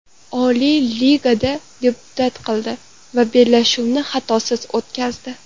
Oliy ligada debyut qildi va bellashuvni xatosiz o‘tkazdi.